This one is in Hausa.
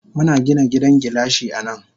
Muna Gina gidan gilashi anan.